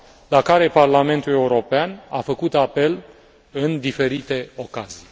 la care Parlamentul European a făcut apel în diferite ocazii.